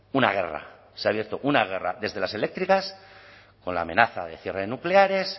una guerra se ha abierto una guerra desde las eléctricas con la amenaza de cierre de nucleares